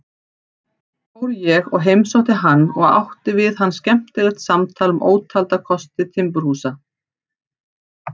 Fór ég og heimsótti hann og átti við hann skemmtilegt samtal um ótalda kosti timburhúsa.